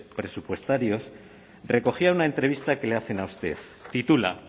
presupuestarios recogía una entrevista que le hacen a usted titula